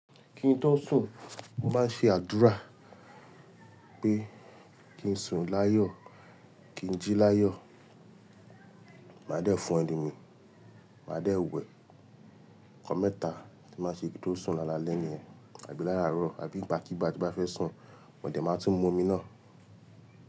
Kín tó sùn, mo máa ń ṣe àdúrá pé kí n sùn láyọ̀, kí n jí láyọ̀. Màá dé fo enu mi, màá dé wẹ nkan mẹ́ta tí n máa n ṣe kí n tó sùn lálẹ́ ní ẹyin, àbí láràárọ̀, àbí igba kíigbà tí mo bá fẹ́ sùn, mọ̀ dé máa tún mu omi náà.